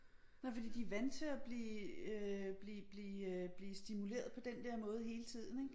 Nej fordi de vant til at blive øh blive blive øh blive stimuleret på den der måde hele tiden ik